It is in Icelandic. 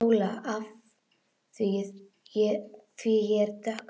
SÓLA: Af því ég er dökkhærð.